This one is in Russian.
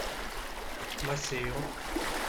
масейо